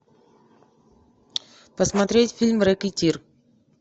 посмотреть фильм рекетир